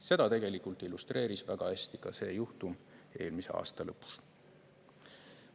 Seda tegelikult illustreeris väga hästi ka see juhtum eelmise aasta lõpus.